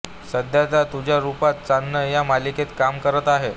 सध्या त्या तुझ्या रुपाचं चांदणं या मालिकेत काम करत आहे